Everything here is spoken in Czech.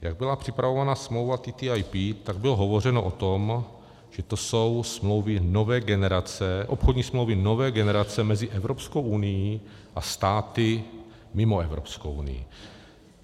Jak byla připravována smlouva TTIP, tak bylo hovořeno o tom, že to jsou smlouvy nové generace, obchodní smlouvy nové generace mezi Evropskou unií a státy mimo Evropskou unii.